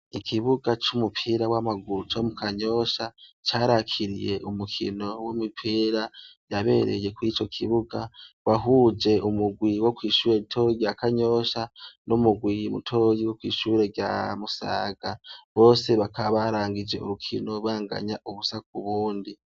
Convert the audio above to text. Ikibuga c'umupira w'amaguru co mu Kanyosha carakiriye umukino w'imupira yabereye kwico kibuga, wahuje umugwi wo kw'ishure ritoyi rya Kanyosha n'umugwi mutoyi wo kw'ishure rya MUsaga. Bose bakaba barangije urukino banganya ubusa ku bundi.